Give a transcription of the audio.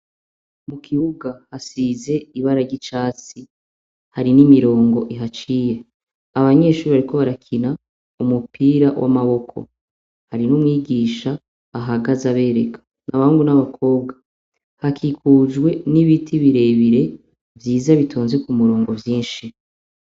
Mu kibuga hasize ibara ry'icatsi, hari n'imirongo ihaciye. Abanyeshure bariko barakina umupira w'amaboko hariho umwigisha ahagaze abereka abahungu n'abakobwa hakikujwe n'ibiti birebire vyiza bitonze ku murongo vyinshi.